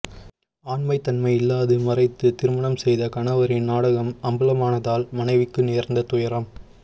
ஆண்மை தன்மை இல்லாது மறைத்து திருமணம் செய்த கணவரின் நாடகம் அம்பலமானதால் மனைவிக்கு நேர்ந்த துயரம்